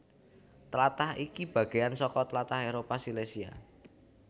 Tlatah iki bagéyan saka tlatah Éropah Silesia